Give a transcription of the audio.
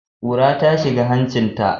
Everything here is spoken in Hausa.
Ƙura ta shiga hancinta.